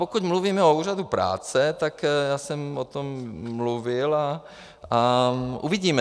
Pokud mluvíme o Úřadu práce, tak já jsem o tom mluvil a uvidíme.